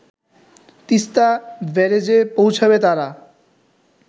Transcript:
তিস্তা ব্যারেজে পৌঁছাবে তারা